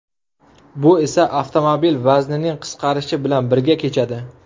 Bu esa avtomobil vaznining qisqarishi bilan birga kechadi.